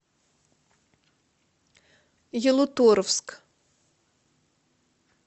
ялуторовск